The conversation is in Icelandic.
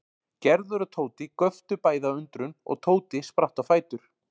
Gerður og Tóti göptu bæði af undrun og Tóti spratt á fætur.